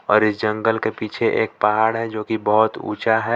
और इस जंगल के पीछे एक पहाड़ है जोकि बहुत ऊंचा है।